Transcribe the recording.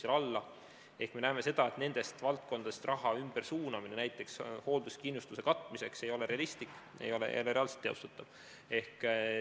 Ehk minu isiklik seisukoht on tõesti olnud see ja ma olen ka selle juurde jäänud, et nendest valdkondadest raha ümbersuunamine näiteks hoolduskindlustuse katmiseks ei ole realistlik, ei ole reaalselt teostatav.